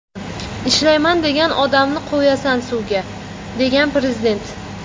Ishlayman degan odamni qo‘yasan suvga”, degan Prezident.